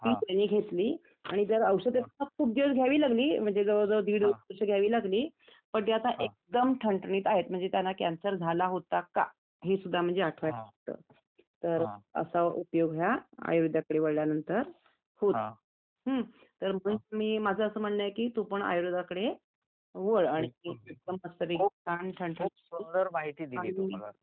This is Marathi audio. औषध असतील ती त्यांनी घेतली आणि औषध खूप दिवस घ्यावी लागली जवळजवळ दीड वर्ष घ्यावी लागली पण त्या आता एकदम ठणठणीत आहे म्हणजे त्यांना कॅन्सर झाला होता का हे सुद्धा म्हणजे आठवायला तर असा उपयोग हा आयुर्वेदाकडे वळल्यानंतर होतो तर मी माझं असं म्हणणं आहे की तू पण आयुर्वेदाकडे वळ आणि एकदम मस्तपैकी छान ठणठणीत